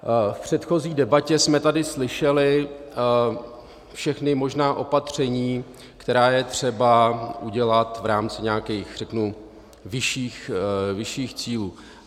V předchozí debatě jsme tady slyšeli všechna možná opatření, která je třeba udělat v rámci nějakých, řeknu, vyšších cílů.